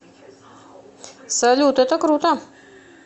салют это круто